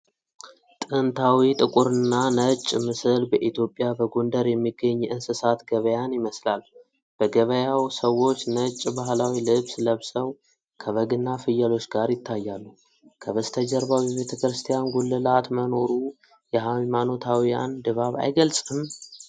ጥንታዊ ጥቁርና ነጭ ምስል በኢትዮጵያ በጎንደር የሚገኝ የእንስሳት ገበያን ይመስላል። በገበያው ሰዎች ነጭ ባህላዊ ልብስ ለብሰው ከበግና ፍየሎች ጋር ይታያሉ፣ ከበስተጀርባው የቤተክርስቲያን ጉልላት መኖሩ የሃይማኖታዊውን ድባብ አይገልጽም?